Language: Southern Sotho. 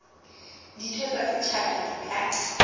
ditho tsa setjhaba di ka